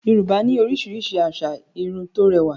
Yorùbá ní oríṣiríṣi asà Irun tó rẹwà